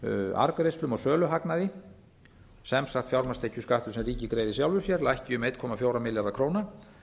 arðgreiðslum og söluhagnaði sem sagt fjármagnstekjuskattur sem ríkið greiðir sjálfu sér lækki um einn komma fjóra milljarða króna